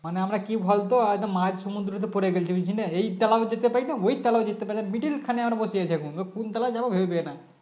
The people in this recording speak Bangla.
মানে আমরা কি বলতো মাঝ সমুদ্রতে পড়ে গেছি বুঝলি না এই খানেও যেতে পারি না ওই খানেও যেতে পারি না Middle খানে বসে আছি এখন কোনখানে যাব ভেবে পাই না